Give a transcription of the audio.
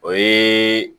O ye